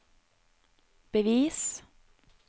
bevis